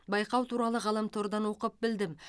байқау туралы ғаламтордан оқып білдім